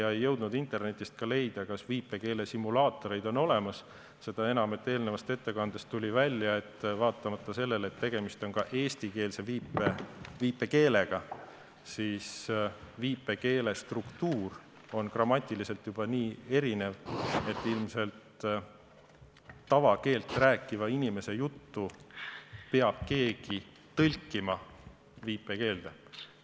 Ma ei jõudnud ka internetist leida, kas viipekeelesimulaatoreid on olemas, seda enam, et eelnevast ettekandest tuli välja, et vaatamata sellele, et tegemist on eesti viipekeelega, on viipekeele struktuur grammatiliselt nii erinev, et ilmselt tavakeelt rääkiva inimese juttu peab keegi viipekeelde tõlkima.